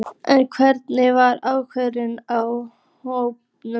En hvernig var ástandið á hópnum?